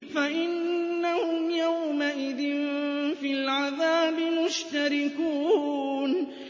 فَإِنَّهُمْ يَوْمَئِذٍ فِي الْعَذَابِ مُشْتَرِكُونَ